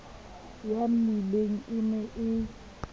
ya mmileng e ne e